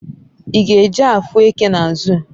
I g'eje afu eke na zoo?